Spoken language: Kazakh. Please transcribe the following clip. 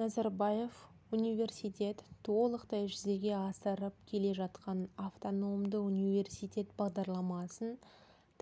назарбаев университет толықтай жүзеге асырып келе жатқан автономды университет бағдарламасын